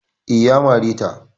Eh, Ya mare ta